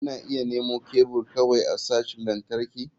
Kuna iya nemo kebul kawai a sashin lantarki.